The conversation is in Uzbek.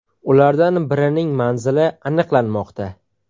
Ulardan birining manzili aniqlanmoqda.